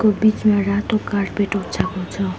यो बीचमा रातो कार्पेट ओछाको छ।